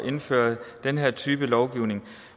indføre den her type lovgivning